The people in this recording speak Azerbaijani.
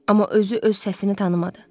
Amma özü öz səsini tanımadı.